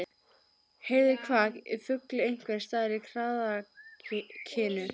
Heyrði kvak í fugli einhvers staðar í kraðakinu.